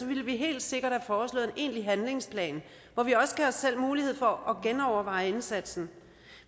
ville vi helt sikkert have foreslået egentlig handlingsplan hvor vi også gav os selv mulighed for at genoverveje indsatsen